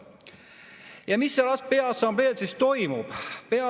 Ja mis seal assambleel siis toimub?